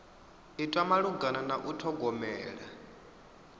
itwa malugana na u ṱhogomela